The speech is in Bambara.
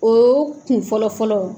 O kun fɔlɔ fɔlɔ